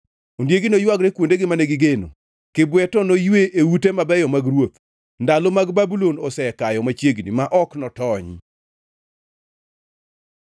Ondiegi noywagre kuondegi mane gigeno, kibwe to noywe e ute mabeyo mag ruoth. Ndalo mag Babulon osekayo machiegni ma ok notony.